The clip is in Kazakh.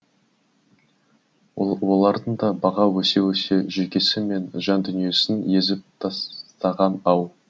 олардың да баға өсе өсе жүйкесі мен жандүниесін езіп тастаған ау